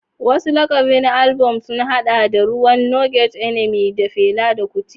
Wasu lakabin albam sun haɗa da "Ruwan No Get Enemy" na Fela Kuti.